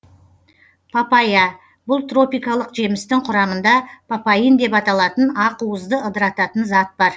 папайя бұл тропикалық жемістің құрамында папаин деп аталатын ақуызды ыдырататын зат бар